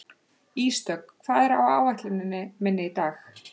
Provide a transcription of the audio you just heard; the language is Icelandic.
Ísdögg, hvað er á áætluninni minni í dag?